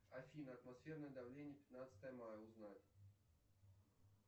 афина атмосферное давление пятнадцатое мая узнать